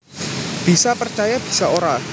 Bisa percaya bisa ora